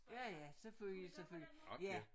Ja ja selvfølgelig selvfølgelig ja